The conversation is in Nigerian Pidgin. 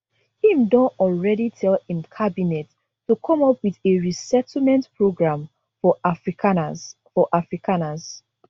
im don already tell im cabinet to come up wit a resettlement program for afrikaners for afrikaners